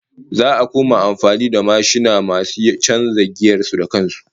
Za'a koma amfani da yawancin mashina masu chanza giyar su da kan su